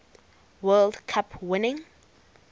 world cup winning